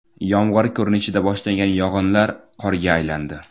Yomg‘ir ko‘rinishida boshlangan yog‘inlar qorga aylandi.